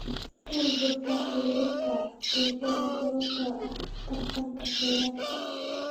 Burburka xiriirka bulshada sababtoo ah tartanka kheyraadka.